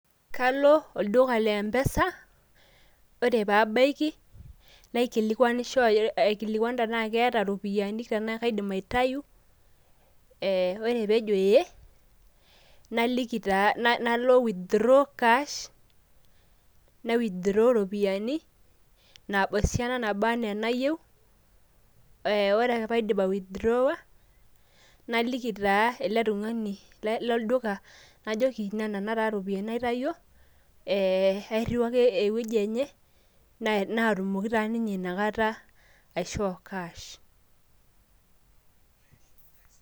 kalo oldula lempesa, ore pee ebaiki, naikilikuanisho tenaa keeta ropiyiani, tenaa kaidim aitayu, ore pee ejo ee naliki taa, nalo withdraw cash nai withdraw iropiyiani esiana naba anaa enayieu. ore pee aidip ai withdraw naliki taa ele tungani lolduka ajo nena taa ropiyiani naitayio atipika ewueji enyenaatumoki taa ninye ina kata aishoo cash